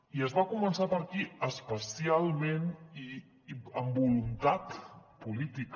i es va començar per aquí especialment i amb voluntat política